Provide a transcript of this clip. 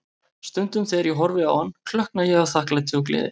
Stundum þegar ég horfi á hann, klökkna ég af þakklæti og gleði.